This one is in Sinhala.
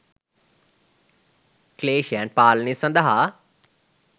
ක්ලේෂයන් පාලනය සඳහා